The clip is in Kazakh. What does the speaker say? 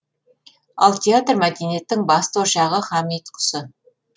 ал театр мәдениеттің басты ошағы һәм ұйытқысы